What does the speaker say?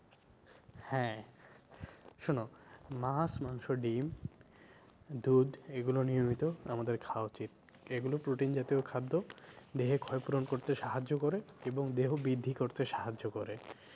হ্যাঁ শোনো মাছ, মাংস, ডিম, দুধ এগুলো নিয়মিত আমাদের খাওয়া উচিত এগুলো protein জাতীয় খাদ্য দেহে ক্ষয় পূরণ করতে সাহায্য করে এবং দেহ বৃদ্ধি করতে সাহায্য করে।